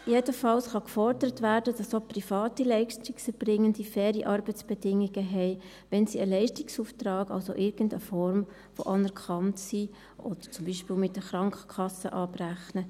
Jedenfalls kann gefordert werden, dass auch private Leistungserbringende faire Arbeitsbedingungen haben, wenn sie einen Leistungsauftrag haben, also in irgendeiner Form anerkannt sind, oder zum Beispiel mit der Krankenkasse abrechnen.